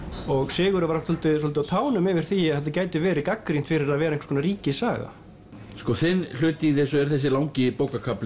Sigurður var alltaf svolítið á tánum yfir því að þetta gæti verið gagnrýnt fyrir að vera einhvers konar ríkissaga sko þinn hluti í þessu er þessi langi